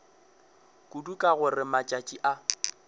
kudu ka gore matšatši a